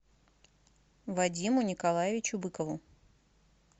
вадиму николаевичу быкову